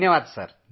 धन्यवादसर